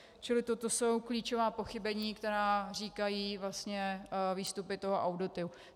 Čili toto jsou klíčová pochybení, která říkají vlastně výstupy toho auditu.